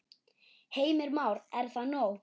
Heimir Már: Er það nóg?